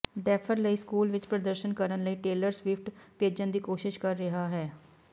defer ਲਈ school ਵਿਚ ਪ੍ਰਦਰਸ਼ਨ ਕਰਨ ਲਈ ਟੇਲਰ ਸਵਿਫਟ ਭੇਜਣ ਦੀ ਕੋਸ਼ਿਸ਼ ਕਰ ਰਿਹਾ ਹੈ